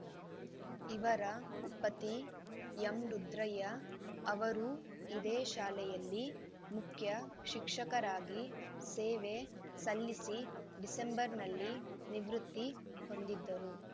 ಇವರ ಪತಿ ಎಂರುದ್ರಯ್ಯ ಅವರೂ ಇದೇ ಶಾಲೆಯಲ್ಲಿ ಮುಖ್ಯ ಶಿಕ್ಷಕರಾಗಿ ಸೇವೆ ಸಲ್ಲಿಸಿ ಡಿಸೆಂಬರ್‌ನಲ್ಲಿ ನಿವೃತ್ತಿ ಹೊಂದಿದ್ದರು